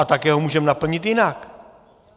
A také ho můžeme naplnit jinak.